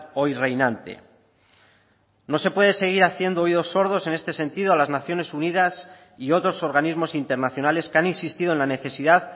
hoy reinante no se puede seguir haciendo oídos sordos en ese sentido a las naciones unidas y otros organismos internacionales que han insistido en la necesidad